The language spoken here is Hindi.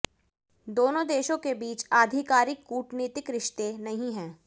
दोनों देशों के बीच आधिकारिक कूटनीतिक रिश्ते नहीं हैं